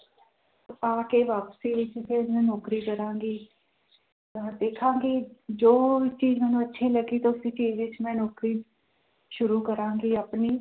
ਆ ਕੇ ਵਾਪਸੀ ਵਿੱਚ ਫਿਰ ਮੈਂ ਨੌਕਰੀ ਕਰਾਂਗੀ ਅਹ ਦੇਖਾਂਗੀ ਜੋ ਵੀ ਚੀਜ਼ ਮੈਨੂੰ ਅੱਛੀ ਲੱਗੀ ਤਾਂ ਉਸੇ ਚੀਜ਼ ਵਿੱਚ ਮੈਂ ਨੌਕਰੀ ਸ਼ੁਰੂ ਕਰਾਂਗੀ ਆਪਣੀ,